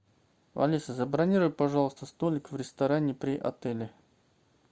алиса забронируй пожалуйста столик в ресторане при отеле